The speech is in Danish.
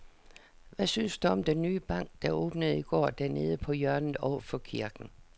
Hvad synes du om den nye bank, der åbnede i går dernede på hjørnet over for kirken?